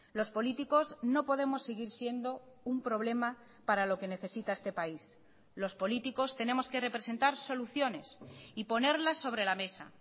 los políticos no podemos seguir siendo un problema para lo que necesita este país los políticos tenemos que representar soluciones y ponerlas sobre la mesa